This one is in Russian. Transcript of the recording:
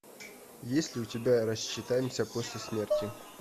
есть ли у тебя рассчитаемся после смерти